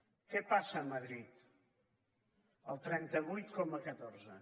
què passa a madrid el trenta vuit coma catorze